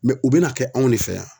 u be n'a kɛ anw de fɛ yan.